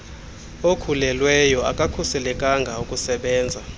okhulelweyo akukhuselekanga ukusebenzisa